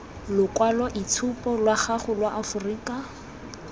lokwaloitshupu lwa gago lwa aforika